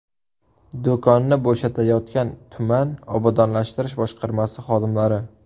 Do‘konni bo‘shatayotgan tuman obodonlashtirish boshqarmasi xodimlari.